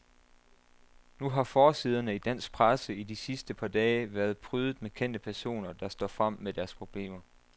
Nu har forsiderne i dansk presse i de sidste par dage været prydet med kendte personer, der står frem med deres problemer.